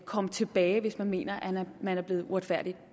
komme tilbage hvis man mener man er blevet uretfærdigt